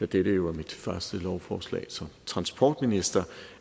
dette jo er mit første lovforslag som transportminister